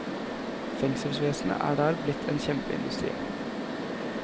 Fengselsvesenet er der blitt en kjempeindustri.